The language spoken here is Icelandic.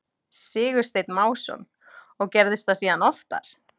Sigursteinn Másson: Og gerðist það síðan oftar?